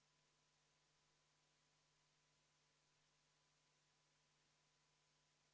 Head kolleegid, me oleme siin seda teemat juba piisavalt käsitlenud, ma seda teemat edasi ei laiendaks, sest meil tuleb praegu hääletusele katkestamisettepanek.